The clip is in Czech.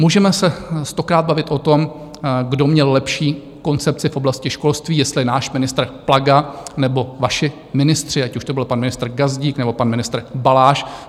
Můžeme se stokrát bavit o tom, kdo měl lepší koncepci v oblasti školství, jestli náš ministr Plaga, nebo vaši ministři, ať už to byl pan ministr Gazdík, nebo pan ministr Balaš.